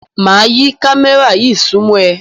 Máa yí kámẹ́rà yí súnmọ́ ẹ.